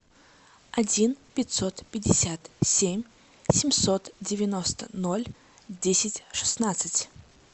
один пятьсот пятьдесят семь семьсот девяносто ноль десять шестнадцать